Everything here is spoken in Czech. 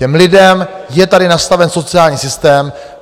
Těm lidem je tady nastaven sociální systém.